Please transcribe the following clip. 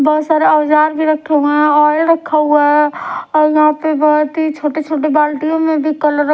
बहोत सारा औजार भी रखे हुआ है ऑल रखा हुआ है और यहां पे बहोत ही छोटे छोटे बाल्टीयों में भी कलर --